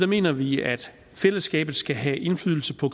mener vi at fællesskabet skal have indflydelse på